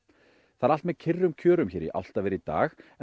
það er allt með kyrrum kjörum hér í Álftaveri i dag en